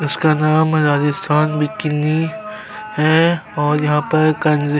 उसका नाम राजस्थान बिकनी है और यहाँ पर कंज--